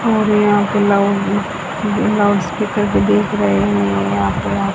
और यहां पे लाउड लाउडस्पीकर भी दिख रहे हैं यहां पर--